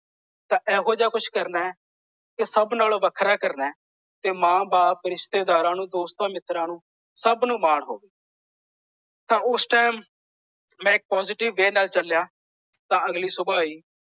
ਤਾਂ ਐਹੋ ਜਿਹਾ ਕੁਝ ਕਰਨਾ ਹੈ ਕਿ ਸਭ ਨਾਲੋਂ ਵੱਖਰਾ ਕਰਨਾ ਹੈ। ਤੇ ਮਾਂ ਬਾਪ ਰਿਸ਼ਤੇਦਾਰਾਂ ਨੂੰ ਦੋਸਤਾਂ ਮਿੱਤਰਾਂ ਨੂੰ ਸਭ ਨੂੰ ਮਾਣ ਹੋਵੇ। ਤਾਂ ਉਸ ਟਾਈਮ ਮੈਂ ਪੋਸਿਟਿਵ ਵੇ ਨਾਲ ਚਲਿਆ ਤਾਂ ਅਗਲੀ ਸੂਬਾ ਹੀ